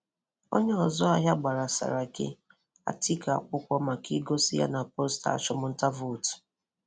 Onye Ọzụ ahịa gbara Saraki, Atiku akwụkwọ maka igosi ya na posta achụmụnta vootu.